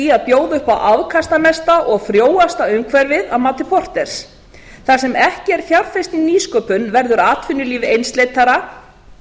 í að bjóða upp á afkastamesta og frjóasta umhverfið að mati porters þar sem ekki er fjárfest í nýsköpun verður atvinnulíf einsleitara